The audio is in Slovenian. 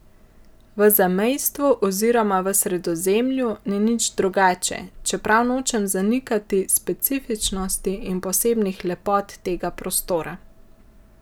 V zamejstvu oziroma v Sredozemlju ni nič drugače, čeprav nočem zanikati specifičnosti in posebnih lepot tega prostora.